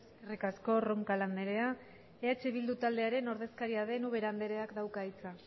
eskerrik asko roncal anderea eh bildu taldearen ordezkaria den ubera andereak dauka hitza